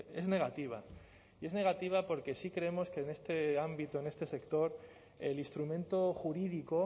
es negativa y es negativa porque sí creemos que en este ámbito en este sector el instrumento jurídico